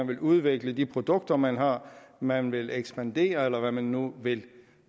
vil udvikle de produkter man har man vil ekspandere eller hvad man nu vil